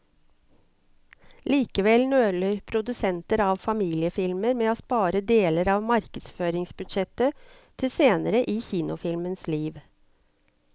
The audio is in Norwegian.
Likevel nøler produsenter av familiefilmer med å spare deler av markedsføringsbudsjettet til senere i kinofilmens liv.